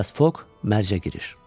Filias Fok mərcə girir.